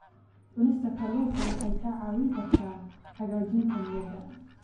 Cunista kalluunka waxay kaa caawin kartaa hagaajinta niyadda.